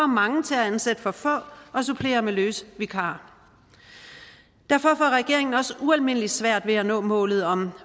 mange til at ansætte for få og supplere med løse vikarer derfor får regeringen også ualmindelig svært ved at nå målet om